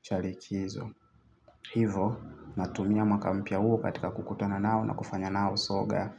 cha likizo. Hivo natumia mwaka mpya huo katika kukutana nao na kufanya nao soga.